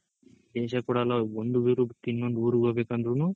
ವಿದೇಶ ಕೂಡ ಅಲ್ಲ ಒಂದ್ ಊರ್ ಬಿಟ್ಟು ಇನ್ನೊಂದ್ ಊರಿಗ್ ಹೊಗ್ಬೇಕಂದ್ರುನು